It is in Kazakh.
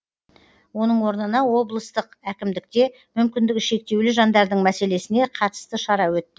оның орнына облыстық әкімдікте мүмкіндігі шектеулі жандардың мәселесіне қатысты шара өтті